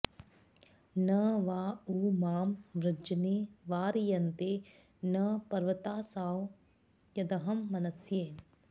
न वा उ मां वृजने वारयन्ते न पर्वतासो यदहं मनस्ये